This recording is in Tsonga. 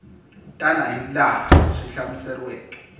tana hi laha swi hlamuseriweke